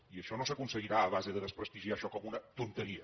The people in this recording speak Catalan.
i això no s’aconseguirà a base de desprestigiar això com una tonteria